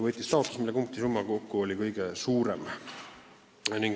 Võitis taotlus, mille punktisumma oli kõige suurem.